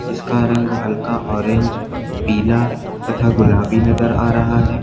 इसका रंग हल्का ऑरेंज पीला तथा गुलाबी नजर आ रहा है।